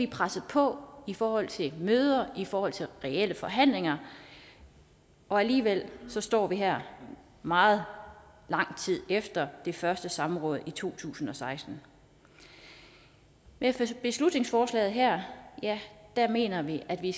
presset på i forhold til møder i forhold til reelle forhandlinger og alligevel står vi her meget lang tid efter det første samråd i to tusind og seksten med beslutningsforslaget her mener vi at vi